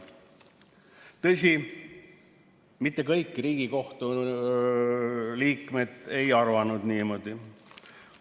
Tõsi, mitte kõik Riigikohtu liikmed ei arvanud niimoodi.